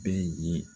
Bɛɛ ye